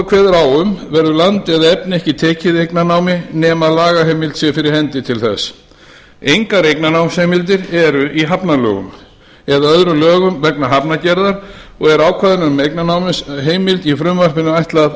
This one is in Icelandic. kveður á um verður land eða efni ekki tekið eignarnámi nema að lagaheimild sé fyrir hendi til þess engar eignarnámsheimildir eru í hafnalögum eða öðrum lögum vegna hafnargerðar og er ákvæðinu um eignarnámsheimild í frumvarpinu ætlað